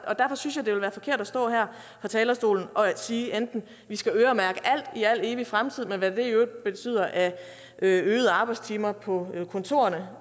derfor synes jeg det ville være forkert at stå her på talerstolen og sige at vi skal øremærke alt i al evig fremtid med hvad det i øvrigt betyder af øgede arbejdstimer på kontorerne